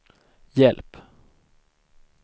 hjälp